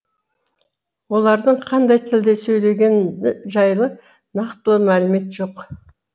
олардың қандай тілде сөйлегені жайлы нақтылы мәлімет жоқ